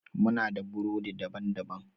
Muna da burodi daban-baban.